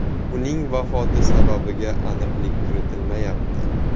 Uning vafoti sababiga aniqlik kiritilmayapti.